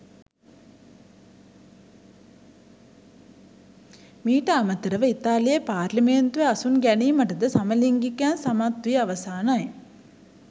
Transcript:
මීට අමතරව ඉතාලියේ පාර්ලිමේන්තුවේ අසුන් ගැනීමටද සමලිංගිකයින් සමත් වී අවසානයි.